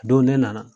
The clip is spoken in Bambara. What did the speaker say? A don ne nana